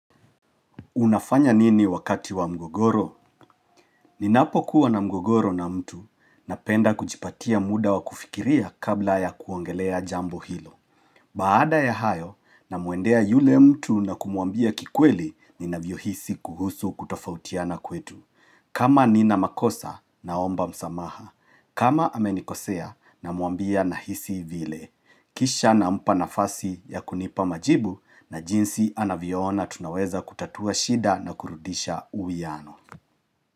Unafanya nini wakati wa mgogoro? Ninapokuwa na mgogoro na mtu napenda kujipatia muda wa kufikiria kabla ya kuongelea jambo hilo. Baada ya hayo namuendea yule mtu na kumuambia kikweli ninavyohisi kuhusu kutofautiana kwetu. Kama nina makosa naomba msamaha. Kama amenikosea namwambia nahisi vile. Kisha nampa nafasi ya kunipa majibu na jinsi anavyoona tunaweza kutatua shida na kurudisha uuwiano.